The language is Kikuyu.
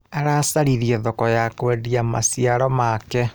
Aracaririe thoko ya kwendia maciaro make.